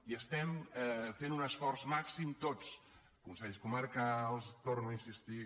i estem fent un esforç màxim tots consells comarcals hi torno a insistir